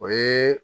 O ye